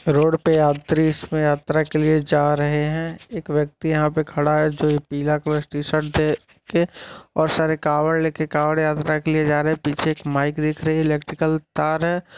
Road पे यात्री इसमें यात्रा के लिए जा रहें हैं | एक व्यक्ति यहाँ पे खड़ा है जो ए पीला और सारे कावड़ लेके कावड़ यात्रा के लिए जा रहें है पीछे एक माइक दिख रही है इलेक्ट्रिकल तार है।